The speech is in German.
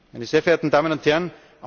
Meine sehr verehrten Damen und